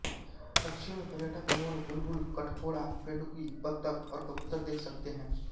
पक्षियों में पर्यटक मोर बुलबुल कठफोड़ा पेडुकी बतख और कबूतर देख सकते हैं